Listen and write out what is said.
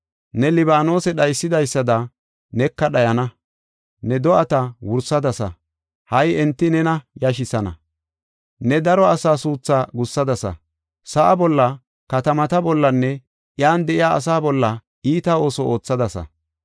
Ne Libaanose dhaysidaysada neka dhayana. Ne do7ata wursadasa, ha77i enti nena yashisana. Ne daro asaa suuthaa gussadasa; sa7a bolla, katamata bollanne iyan de7iya asa bolla iita ooso oothadasa.